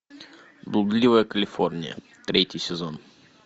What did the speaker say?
блудливая калифорния третий сезон